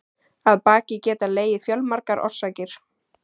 Að baki geta legið fjölmargar orsakir.